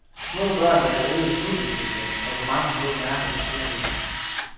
Små børn vil have en øget snubletendens og få mange blå mærker på skinnebenene.